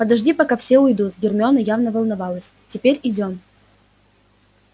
подожди пока все уйдут гермиона явно волновалась теперь идём